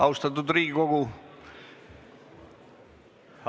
Austatud Riigikogu!